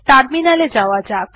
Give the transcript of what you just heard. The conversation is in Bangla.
টার্মিনাল এ যাওয়া যাক